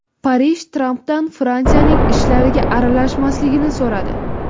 Parij Trampdan Fransiyaning ishlariga aralashmaslikni so‘radi.